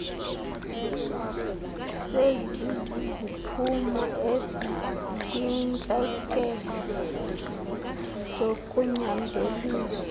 seziziziphumo eziyintlekele zokunyanzeliswa